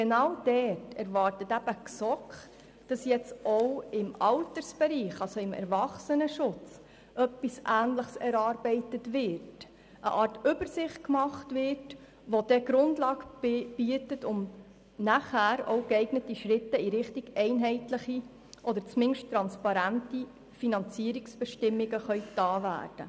Die GSoK erwartet, dass nun auch im Altersbereich, also im Erwachsenenschutz, etwas Ähnliches erarbeitet, also eine Art Übersicht erstellt wird, welche die Grundlage bietet, um geeignete Schritte in Richtung einheitliche oder zumindest transparente Finanzierungsbestimmungen gehen zu können.